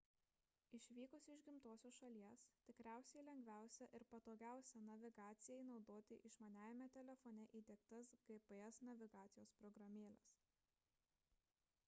išvykus iš gimtosios šalies tikriausiai lengviausia ir patogiausia navigacijai naudoti išmaniajame telefone įdiegtas gps navigacijos programėles